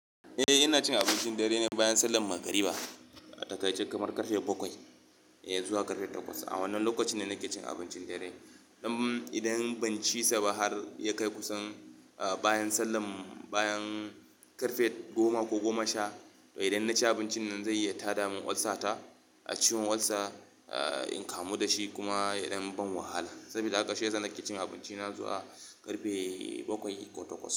Eh ina cin abincin dare ne bayan sallan magariba, a takaice kamar karfe bakwai eh zuwa karfe takwas. A wannan lokacin ne nake cin abincin dare. Idan ban ci sa ba har ya kai kusan bayan sallam, bayan karfe goma ko goma sha, idan na ci abincin nan zai iya tada min olsa ta. A ciwon olsa, in kamu dashi kuma idan ban wahala. Saboda haka shiyasa nake cin abinci na zuwa karfe bakwai ko takwas.